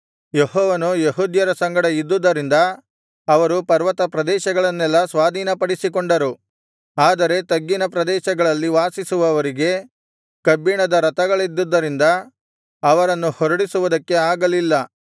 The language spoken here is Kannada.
ಯೆಹೋವನು ಯೆಹೂದ್ಯರ ಸಂಗಡ ಇದ್ದುದರಿಂದ ಅವರು ಪರ್ವತಪ್ರದೇಶಗಳನ್ನೆಲ್ಲಾ ಸ್ವಾಧೀನಪಡಿಸಿಕೊಂಡರು ಆದರೆ ತಗ್ಗಿನ ಪ್ರದೇಶಗಳಲ್ಲಿ ವಾಸಿಸುವವರಿಗೆ ಕಬ್ಬಿಣದ ರಥಗಳಿದ್ದುದರಿಂದ ಅವರನ್ನು ಹೊರಡಿಸುವುದಕ್ಕೆ ಆಗಲಿಲ್ಲ